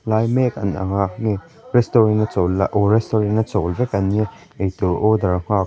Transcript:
lai mek an ang a restaurant a chawl lai oh restaurant a chawl vek an nia ei tur order nghak--